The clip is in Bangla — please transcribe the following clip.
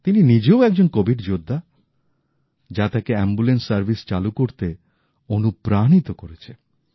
তিনি নিজেও একজন কোভিড যোদ্ধা যা তাকে অ্যাম্বুলেন্স সার্ভিস চালু করতে অনুপ্রাণিত করেছে